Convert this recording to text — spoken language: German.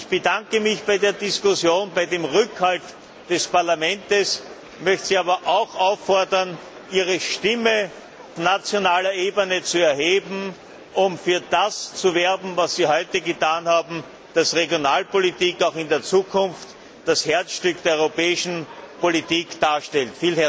Ich bedanke mich für die Diskussion und den Rückhalt des Parlaments, möchte Sie aber auch auffordern, Ihre Stimme auf nationaler Ebene zu erheben, um für das zu werben, was Sie heute getan haben, damit Regionalpolitik auch in der Zukunft das Herzstück der europäischen Politik darstellt.